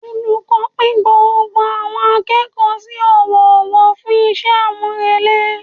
Olùkọ́ pín gbogbo àwọn akẹ́kọ̀ọ́ sí ọwọ́ ọwọ́ fún iṣẹ́ àmúrelé